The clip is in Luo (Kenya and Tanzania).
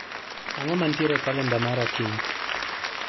Ang'o mantiere e kalenda mara kiny